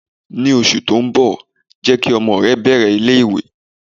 Ní oṣù tó ń bọ̀, jẹ́ kí ọmọ rẹ bẹ̀rẹ̀ ilé ìwé.